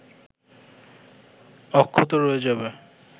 অক্ষত রয়ে যাবে